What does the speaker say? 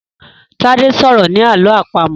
Tade sọrọ ní àlọ́ àpamọ̀.